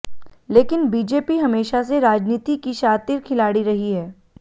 लेकिन बीजेपी हमेशा से राजनीति की शातिर खिलाड़ी रही है